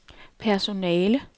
personale